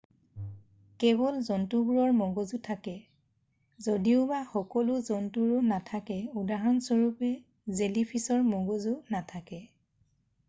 "কেৱল জন্তুবোৰৰ মগজু থাকে যদিওবা সকলো জন্তুৰো নাথাকে; উদাহৰণস্বৰূপে জেলিফিছৰ মগজু নাথাকে।""